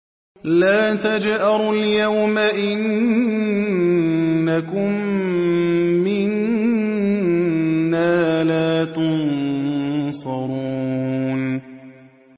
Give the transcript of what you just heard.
لَا تَجْأَرُوا الْيَوْمَ ۖ إِنَّكُم مِّنَّا لَا تُنصَرُونَ